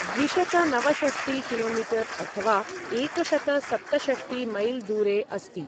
द्विशतनवषष्टि कि.मी. अथवा एकशतसप्तषष्टि मैल् दूरे अस्ति